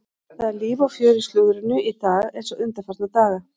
Það er líf og fjör í slúðrinu í dag eins og undanfarna daga.